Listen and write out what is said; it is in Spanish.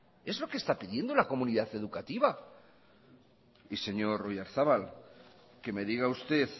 es lo que está pidiendo la comunidad educativa y señor oyarzabal que me diga usted